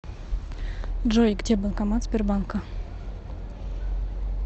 джой где банкомат сбербанка